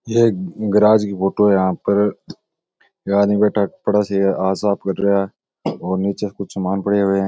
ये एक गेराज की फोटो है यहाँ पर एक आदमी बैठा कपड़ा सी रा हाथ साफ़ कर रहा है और निचे कुछ सामान पडे हुए है।